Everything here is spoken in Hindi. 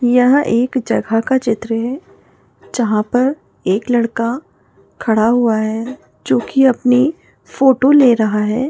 यह एक जगह का चित्र हैं जहाँ पर एक लड़का खड़ा हुआ हैं जो की अपनी फोटो ले रहा हैं।